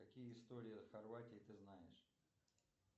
какие истории о хорватии ты знаешь